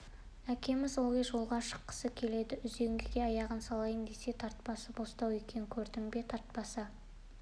әкеміз ылғи да жолға шыққысы келеді үзеңгіге аяғын салайын десе тартпасы бостау екен көрдің бе тартпасы